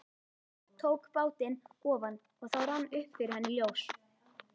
Tók bátinn ofan og þá rann upp fyrir henni ljós.